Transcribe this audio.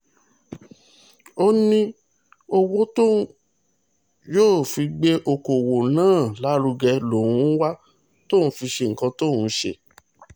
ó ní owó tóun yóò fi gbé ọkọ̀ọ̀wọ́ náà lárugẹ lòun ń wá tóun fi ṣe nǹkan tóun ṣe